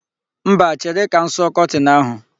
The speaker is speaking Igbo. Mba, chere ka m sụọ kọtin ahụ.